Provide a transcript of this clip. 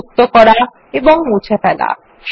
sheet যুক্ত করা ও মুছে ফেলা